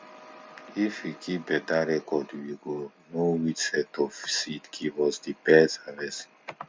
if we keep beta reocrd we go know which set of seed give us di best harvest